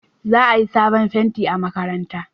Za a yi sabon fenti a makaranta